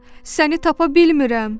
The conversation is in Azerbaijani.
Səni tapa bilmirəm.